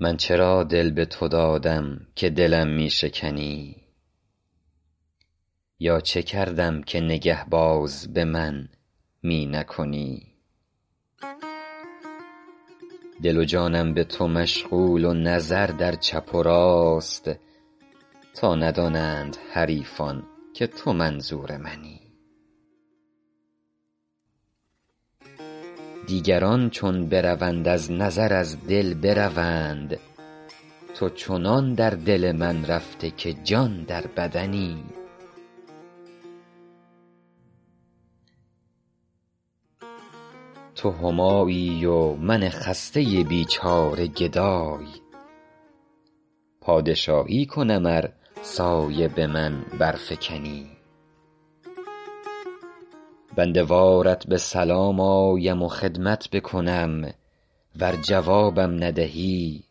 من چرا دل به تو دادم که دلم می شکنی یا چه کردم که نگه باز به من می نکنی دل و جانم به تو مشغول و نظر در چپ و راست تا ندانند حریفان که تو منظور منی دیگران چون بروند از نظر از دل بروند تو چنان در دل من رفته که جان در بدنی تو همایی و من خسته بیچاره گدای پادشاهی کنم ار سایه به من برفکنی بنده وارت به سلام آیم و خدمت بکنم ور جوابم ندهی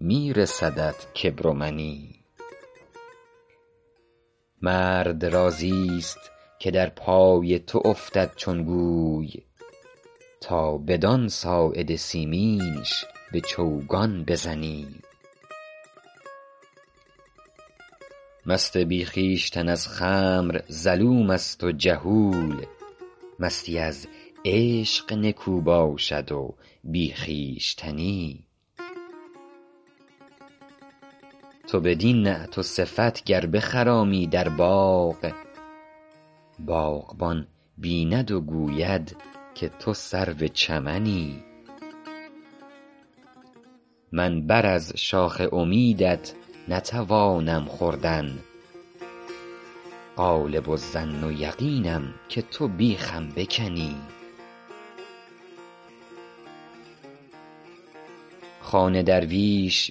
می رسدت کبر و منی مرد راضیست که در پای تو افتد چون گوی تا بدان ساعد سیمینش به چوگان بزنی مست بی خویشتن از خمر ظلوم است و جهول مستی از عشق نکو باشد و بی خویشتنی تو بدین نعت و صفت گر بخرامی در باغ باغبان بیند و گوید که تو سرو چمنی من بر از شاخ امیدت نتوانم خوردن غالب الظن و یقینم که تو بیخم بکنی خوان درویش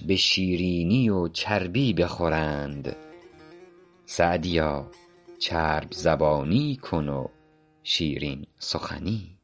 به شیرینی و چربی بخورند سعدیا چرب زبانی کن و شیرین سخنی